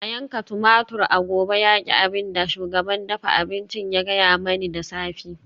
A yanka tumatur a gobe yaki abin da shugaban dafa abinci ya gaya mani da safe